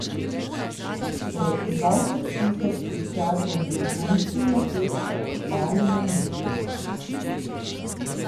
Proti dvajset tisoč kričačem z zvončki v laseh so obstali na mestu.